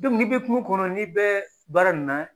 n'i bɛ kungo kɔnɔ n'i bɛ baara nin na